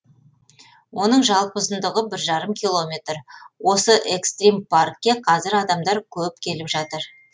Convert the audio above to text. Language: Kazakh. оның жалпы ұзындығы бір жарым километр осы экстрим паркке қазір адамдар көп келіп жатыр